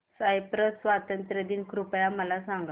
Cyprus स्वातंत्र्य दिन कृपया मला सांगा